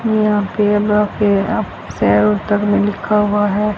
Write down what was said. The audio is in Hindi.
यहां पे लिखा हुआ है।